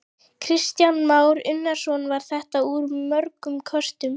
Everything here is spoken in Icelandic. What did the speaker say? Kristján Már Unnarsson: Var þetta úr mörgum köstum?